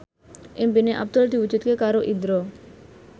impine Abdul diwujudke karo Indro